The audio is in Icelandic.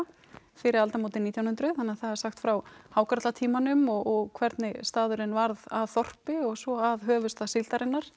fyrir aldamótin nítján hundruð þannig að það er sagt frá hákarlatímanum og hvernig staðurinn varð að þorpi og svo að höfuðstað síldarinnar